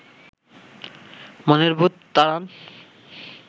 মনের ভূত তাড়ান